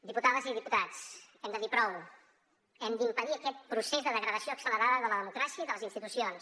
diputades i diputats hem de dir prou hem d’impedir aquest procés de degradació accelerada de la democràcia i de les institucions